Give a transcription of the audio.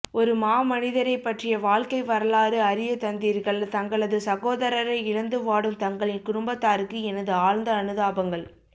ஒரு மாமனிதரைப் பற்றிய வாழ்க்கை வரலாறு அறியத்தந்தீர்கள் தங்களது சகோதரரை இழந்து வாடும் தங்களின் குடும்பத்தாருக்கு எனது ஆழ்ந்த அனுதாபங்கள்